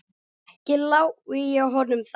Ekki lái ég honum það.